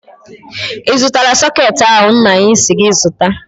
Ị zụtara sọkeetị ahụ nna anyị ziri gị zụta?